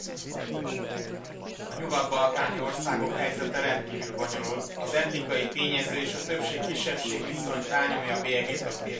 A nyugat balkáni országok helyzete rendkívül bonyolult, az etnikai tényező és a többség kisebbség viszony rányomja a bélyegét a térség fejlődésére.